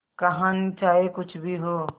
कहानी चाहे कुछ भी हो